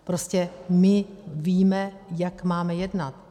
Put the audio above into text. Prostě my víme, jak máme jednat.